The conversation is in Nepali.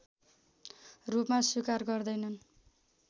रूपमा स्वीकार गर्दैनन्